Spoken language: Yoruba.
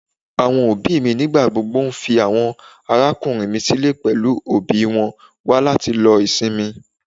Àwọn òbí mi nígbà gbogbo nfi àwọn arákùnrin mi sílẹ pẹlú òbí wọn wá láti lo ìsinmi.